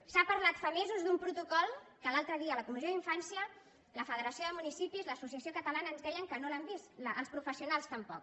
s’ha parlat fa mesos d’un protocol que l’altre dia a la comissió d’infància la federació de municipis l’associació catalana ens deien que no l’han vist els professionals tampoc